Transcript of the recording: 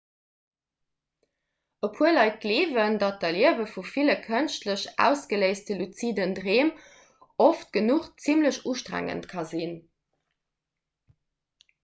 e puer leit gleewen datt d'erliewe vu ville kënschtlech ausgeléiste luziden dreem oft genuch zimmlech ustrengend ka sinn